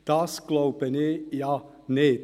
– Das glaube ich nicht.